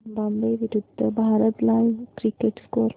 Zimbabwe विरूद्ध Bharat live cricket score